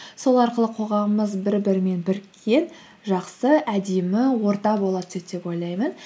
сол арқылы қоғамымыз бір бірімен біріккен жақсы әдемі орта бола түседі деп ойлаймын